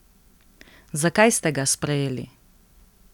Zakaj ste ga sprejeli?